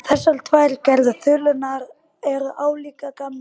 Þessar tvær gerðir þulunnar eru álíka gamlar.